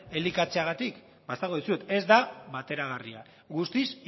elikatzeagatik ba esango dizuet ez da bateragarria guztiz